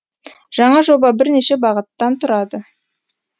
жаңа жоба бірнеше бағыттан тұрады